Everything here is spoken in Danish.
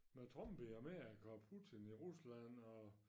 Men Trump i Amerika og Putin i Rusland og